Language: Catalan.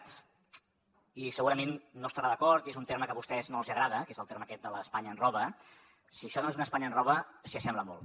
i segurament no hi estarà d’acord i és un terme que a vostès no els agrada que és el terme aquest de l’ espanya ens roba si això no és un espanya ens roba s’hi assembla molt